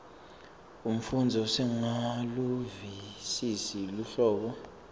umfundzi usengakaluvisisi luhlobo